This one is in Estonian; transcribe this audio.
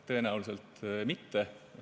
Tõenäoliselt mitte.